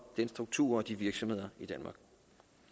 den struktur og de virksomheder i danmark